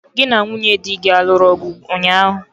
Gị na nwunye dị gị aluru ọgụ ụnyaahụ?